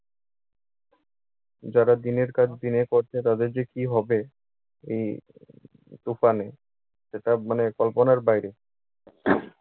যারা দিনের কাজ দিনে করত তাদের যে কি হবে এই তুফানে! সেটা মানে কল্পনার বাইরে।